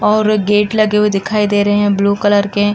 और गेट लगे हुए दिखाई दे रहे ब्लू कलर के।